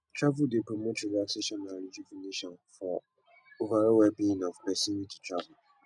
travel dey promote relaxation and rejuvenation for overall wellbeing of pesin wey dey travel